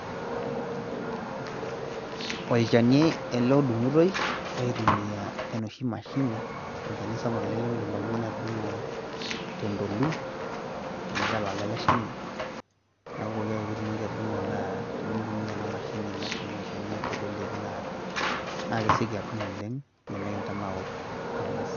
olchani ele odung'itoi aitumia enoshi mashini. olchani sapuk ele, lemeidim oltungani atudung'o tentolu amu kelala ele shani, neeku pooki ake pee itumoki atudung'o naa tenintumia ena mashini nadung' olchani teleleki, naa kesioki adung' oleng teleleki nimikintanaur ang'as.